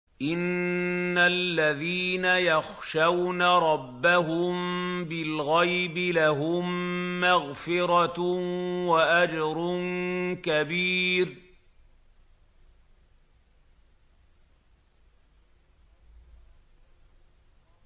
إِنَّ الَّذِينَ يَخْشَوْنَ رَبَّهُم بِالْغَيْبِ لَهُم مَّغْفِرَةٌ وَأَجْرٌ كَبِيرٌ